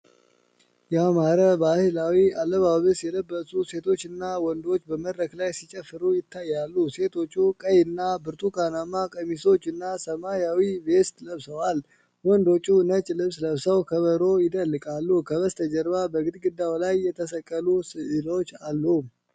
ያማረ ባህላዊ አለባበስ የለበሱ ሴቶችና ወንዶች በመድረክ ላይ ሲጨፍሩ ይታያሉ። ሴቶቹ ቀይና ብርቱካናማ ቀሚሶችና ሰማያዊ ቬስት ለብሰዋል። ወንዶቹ ነጭ ልብስ ለብሰው ከበሮ ይደልቃሉ። ከበስተጀርባ በግድግዳው ላይ የተሰቀሉ ሥዕሎች አሉ።